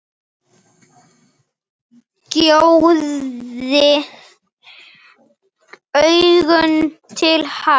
Gjóaði augunum til hans.